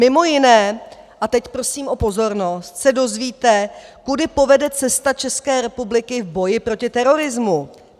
Mimo jiné, a teď prosím o pozornost, se dozvíte, kudy povede cesta České republiky v boji proti terorismu.